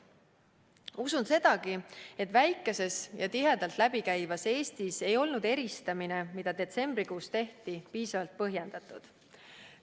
Usun sedagi, et väikeses ja tihedalt läbi käivas Eestis ei olnud eristamine, mis detsembrikuus tehti, piisavalt põhjendatud.